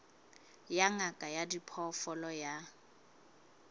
ya ngaka ya diphoofolo ya